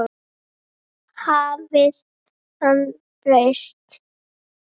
Hafði hann breyst?